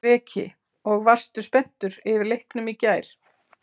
Breki: Og varstu spenntur yfir leiknum í gær?